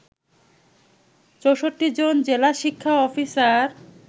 ৬৪ জন জেলা শিক্ষা অফিসার